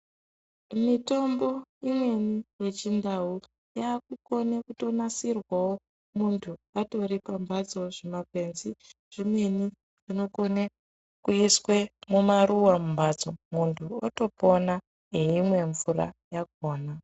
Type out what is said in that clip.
Mitombo imweni yechindau yakukone kutonasirwavo muntu atori pamhatso. Zvimakwenzi zvimweni zvinokone kuiswe mumaruva mumhatso, muntu otopona eimwe mvura yakona.